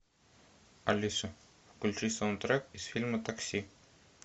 алиса включи саундтрек из фильма такси